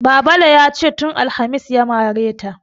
Babale ya ce "tun alhamis ya mare ta".